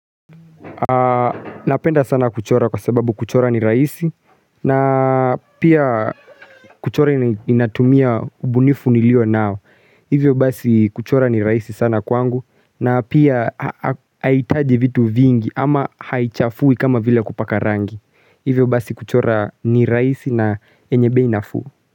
Napenda sana kuchora kwa sababu kuchora ni rahisi na pia kuchora inatumia ubunifu nilio nao. Hivyo basi kuchora ni rahisi sana kwangu na pia haihitaji vitu vingi ama haichafuwi kama vile kupaka rangi. Hivyo basi kuchora ni rahisi na yenye bei nafuu.